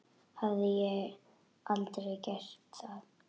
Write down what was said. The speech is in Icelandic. Hafði aldrei gert það.